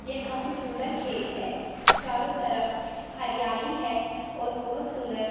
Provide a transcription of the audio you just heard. ये काफी सुंदर खेत है चारों तरफ हरियाली है और बहोत सुंदर--